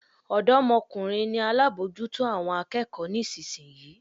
Odomokunrin ni alábòójútó àwọn akẹ́kọ̀ọ́ nísinsìnyí.